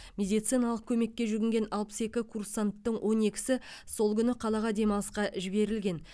медициналық көмекке жүгінген алпыс екі курсанттың он екісі сол күні қалаға демалысқа жіберілген